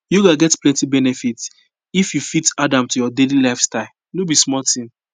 yoga get plenty benefit if you fit add am to your daily lifestyle no be small thing